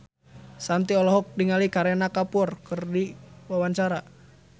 Shanti olohok ningali Kareena Kapoor keur diwawancara